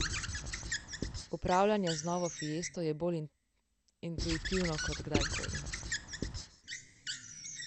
Upravljanje z novo Fiesto je bolj intuitivno kot kdajkoli.